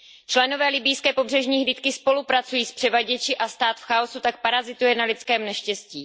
Členové libyjské pobřežní hlídky spolupracují s převaděči a stát v chaosu tak parazituje na lidském neštěstí.